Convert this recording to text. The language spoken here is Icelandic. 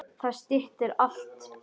Það styttir alltaf biðina.